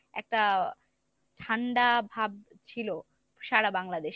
একটা ঠান্ডা ভাব ছিল সারা বাংলাদেশে।